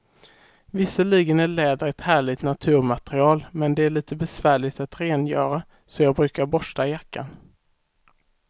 Visserligen är läder ett härligt naturmaterial, men det är lite besvärligt att rengöra, så jag brukar borsta jackan.